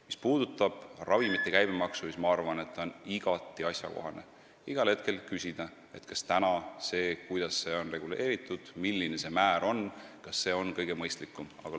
Mis puudutab ravimite käibemaksu, siis ma arvan, et on igati asjakohane küsida, kas see, kuidas see on reguleeritud ja milline määr parajasti kehtib, on kõige mõistlikum.